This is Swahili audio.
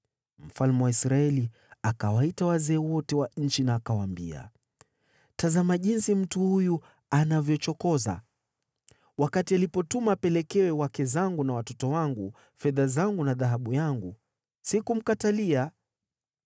Mfalme wa Israeli akawaita wazee wote wa nchi na akawaambia, “Tazama jinsi mtu huyu anavyochokoza! Wakati alipotuma apelekewe wake zangu na watoto wangu, fedha zangu na dhahabu yangu, sikumkatalia.”